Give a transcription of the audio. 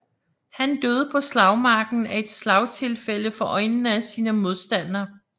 Han døde på slagmarken af et slagtilfælde for øjnene af sine modstandere